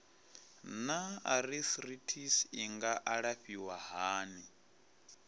naa arthritis i nga alafhiwa hani